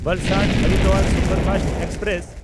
ᱵᱟᱞᱥᱟᱰ-ᱦᱚᱨᱤᱫᱣᱟᱨ superfast express